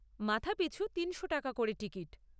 মাথাপিছু তিনশো টাকা করে টিকিট।